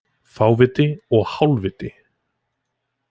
Fáviti og hálfviti